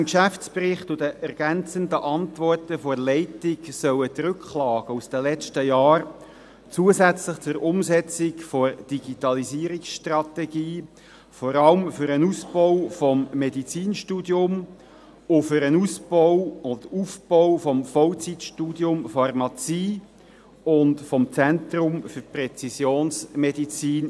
Gemäss dem Geschäftsbericht und den ergänzenden Antworten der Leitung sollen die Rücklagen aus den letzten Jahren zusätzlich zur Umsetzung der Digitalisierungsstrategie eingesetzt werden, vor allem für den Ausbau des Medizinstudiums, für den Ausbau und Aufbau des Vollzeitstudiums Pharmazie und des Zentrums für Präzisionsmedizin.